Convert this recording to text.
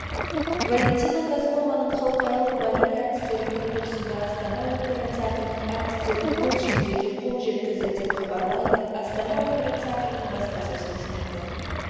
валентина козлованың халықаралық балет әртістері конкурсында астана опера театрының әртістері қос жүлдеге қол жеткізді деп хабарлайды астана опера театрының баспасөз қызметі